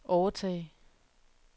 overtage